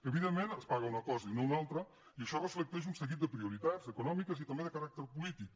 evidentment es paga una cosa i no una altra i això reflecteix un seguit de prioritats econòmiques i també de caràcter polític